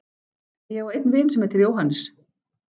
En ég á einn vin sem heitir Jóhannes.